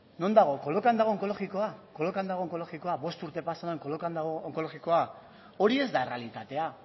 non dago kolokan dago onkologikoa kolokan dago onkologikoa bost urte pasata kolokan dago onkologikoa hori ez da errealitatea